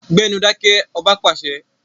Gbẹ́nu dákẹ́! Ọba pàṣẹ.